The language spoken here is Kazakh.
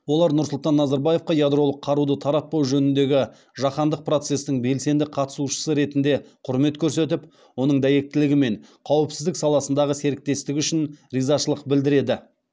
олар нұрсұлтан назарбаевқа ядролық қаруды таратпау жөніндегі жаһандық процестің белсенді қатысушысы ретінде құрмет көрсетіп оның дәйектілігі мен қауіпсіздік саласындағы серіктестігі үшін ризашылық білдіреді